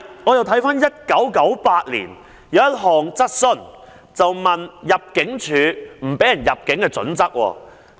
我再翻查1998年的一項質詢，當時議員問及入境處拒絕入境的準則。